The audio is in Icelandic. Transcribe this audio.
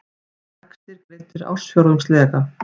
Vextir greiddir ársfjórðungslega